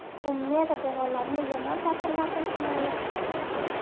U me’da devorlarini yomon ta’sirlardan himoya qiladi.